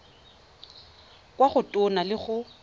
kwa go tona go le